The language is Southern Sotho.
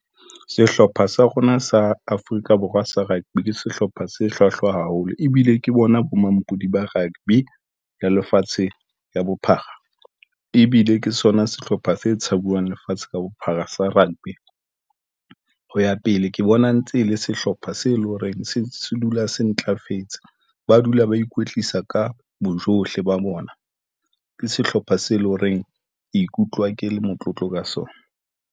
Sehlopha sa rona sa Afrika Borwa sa rugby ke sehlopha se hlwahlwa haholo ebile ke bona bo mampudi ba rugby ya lefatshe ka bophara, ebile ke sona sehlopha se tshabuwang lefatshe ka bophara sa rugby. Ho ya pele, ke bona ntse e le sehlopha se leng hore se dula se ntlafetse. Ba dula ba ikwetlisa ka bojohle, ba bona ke sehlopha se leng horeng Ikutlwa ke le motlotlo ka sona.